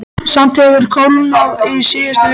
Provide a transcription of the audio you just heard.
Samt hefur kólnað í síðustu viku.